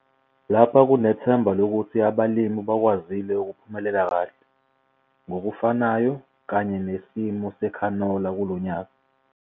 LAPHA KUNETHEMBA LOKUTHI ABALIMI BAKWAZILE UKUPHUMELELA KAHLE, NGOKUFANAYO KANYE NESIMO SEKHANOLA KULONYAKA.